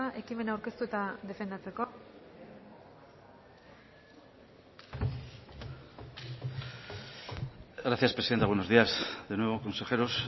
ekimena aurkeztu eta defendatzeko gracias presidenta buenos días de nuevo consejeros